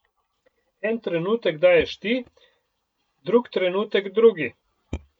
En trenutek daješ ti, drug trenutek drugi.